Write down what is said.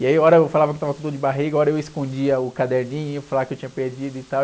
E aí, hora eu falava que estava com dor de barriga, hora eu escondia o caderninho, falava que eu tinha perdido e tal.